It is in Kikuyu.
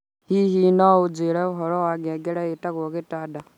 Hihi no ũnjĩĩre ũhoro wa ngengere ĩtagwo gĩtanda